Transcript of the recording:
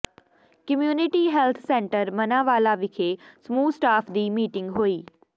community health centre Manawala ਵਿੱਖੇ ਸਮੂਹ staff ਦੀ ਮੀਟਿੰਗ ਹੋਈ